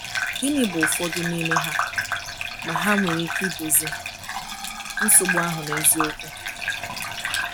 Gịnị bụ ụfọdụ n’ime ha, ma ha nwere ike dozie nsogbu ahụ n’eziokwu?